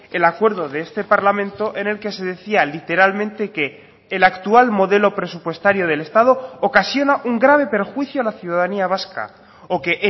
el acuerdo de este parlamento en el que se decía literalmente que el actual modelo presupuestario del estado ocasiona un grave perjuicio a la ciudadanía vasca o que